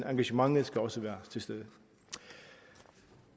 engagementet skal også være til stede